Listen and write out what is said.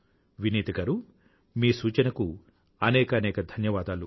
వినీత గారూ మీ సూచనకు అనేకానేక ధన్యవాదాలు